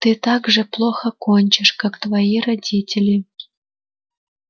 ты так же плохо кончишь как твои родители